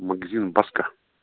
магазин баска